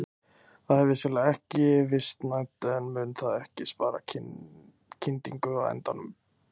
Það er vissulega ekki vistvænt en mun það ekki spara kyndingu á endanum?